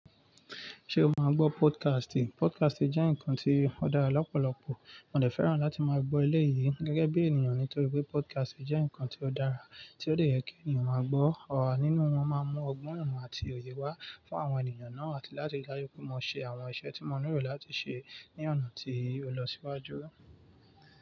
Ṣé o máa ń gbọ́ podcast? Podcast jẹ́ nǹkan tí ó dára lọ́pọ̀lọpọ̀. Mo de fẹ́ràn láti máa gbọ́ eléyì gẹ́gẹ́ bí ènìyàn nítorí pé podcast jẹ́ nǹkan tí ó dára tí ó lè jẹ́ kí ènìyàn máa gbọ́. Ọ̀rọ̀ nínú wọn máa ń mú ọgbọ́n imọn àti òye wá fún àwọn ènìyàn náà àti láti dájú pé mo ṣe àwọn iṣẹ́ tí mo nílò láti ṣe ní ọ̀nà tí ó lọ síwájú.